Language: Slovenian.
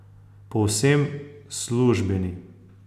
Povsem službeni.